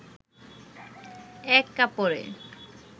এক কাপড়ে